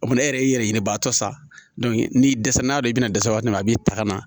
O tuma ne yɛrɛ y'i yɛrɛ ɲini a tɔ sa n'i dɛsɛ n'a dɔn i bɛna dɛsɛ waati min na a b'i ta ka na